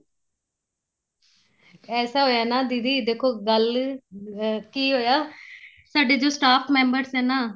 ਐਸਾ ਹੋਇਆ ਨਾ ਦੀਦੀ ਗੱਲ ਕੀ ਹੋਇਆ ਸਾਡੇ ਜੋ staff member ਸੀ ਨਾ